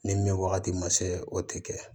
Ni min wagati ma se o tɛ kɛ